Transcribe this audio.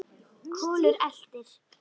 Kolur eltir.